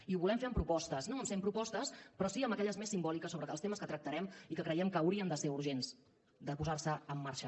i ho volem fer amb propostes no amb cent propostes però sí amb aquelles més simbòliques sobre els temes que tractarem i que creiem que hauria de ser urgent posar los en marxa